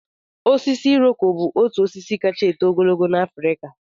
Osisi iroko bụ otu osisi kacha eto ogologo n'Afrịka